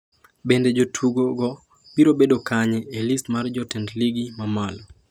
Bende jotugogo biro bedo kanye e list mar jotend Ligi ma malo?